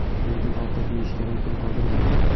lekin ovqat yeyishga imkon qoldirmaydi.